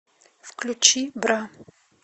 включи бра